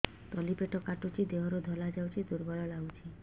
ତଳି ପେଟ କାଟୁଚି ଦେହରୁ ଧଳା ଯାଉଛି ଦୁର୍ବଳ ଲାଗୁଛି